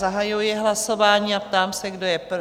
Zahajuji hlasování a ptám se, kdo je pro?